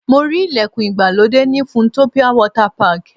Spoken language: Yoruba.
Mo rí ìlẹ̀kùn ìgbàlódé ní Funtopia Water Park.